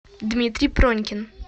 дмитрий пронькин